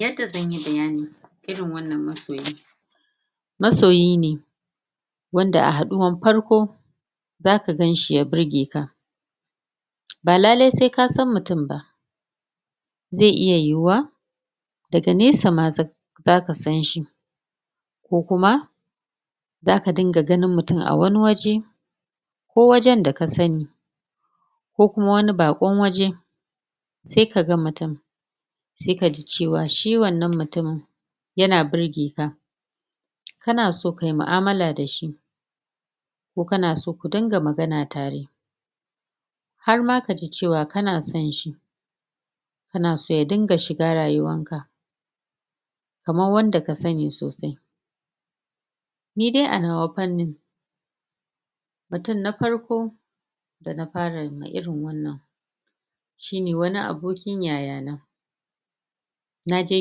Yanda zanyi bayani irin wannan masoyi, masoyine wanda a haɗuwan farko zaka ganshi ya birge ka, ba lalai se kasan mutun ba ze iya yiwuwa daga nesa ma za zaka sanshi ko kuma zaka dinga ganin mutun a wani waje ko wajen da ka sani ko kuma wani baƙon waje se kaga mutun se kaji cewa shi wannan mutumin yana birge ka kana so kai ma'amala dashi ko kanaso ku dunga magana tare har ma kaji cewa kana son shi kanaso ya dinga shiga rayuwan ka kaman wanda kasani sosai. Nidai anawa fannin mutun na farko dana farama irin wannan, shine wani abokin yayana, naje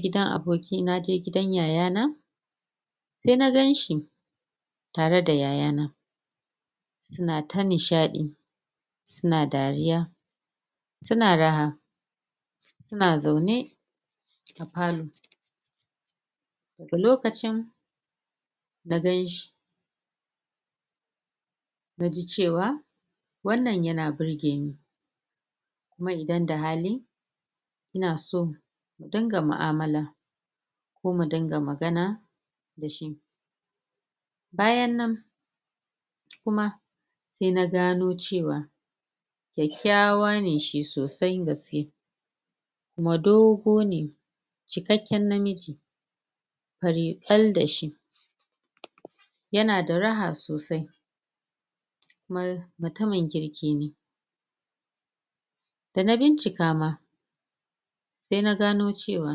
gidan abokin naje gidan yayana se na ganshi, tare da yayana suna ta nishaɗi suna dariya suna raha, suna zaune a palor a lokacin na ganshi naji cewa wannan yana burgeni kuma idan da hali ina so na dunga mu'amala ko mudunga magana dashi, bayan nan kuma se na gano cewa kyakykyawa ne shi sosai gaske kuma dogone cikekken namiji fari kal dashi, yana da raha sosai kuma mutumin kirki ne. Da na bincika ma se na gano cewa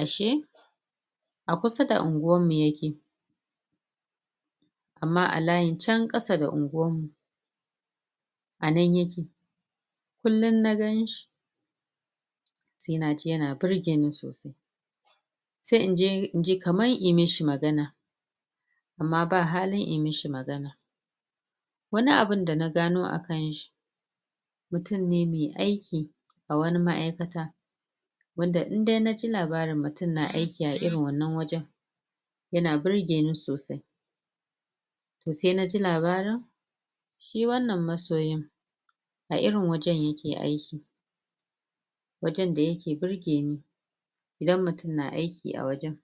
ashe a kusa da anguwan mu yake, amma a layin can kasa da unguwan mu anan yake kullun na ganshi se naji yana birgeni sosai se inje inji kaman in mishi magana amma ba hali in mishi magana wani abun da na gano akanshi, mutun ne me aiki a wani ma aikata wanda in dai naji labari mutun na aiki a irin wannan wajan yana birgeni sosai to se naji labarin shi wannan masoyin a irin wajan yake aiki, wajan da yake birgeni idan mutun na aiki a wajan.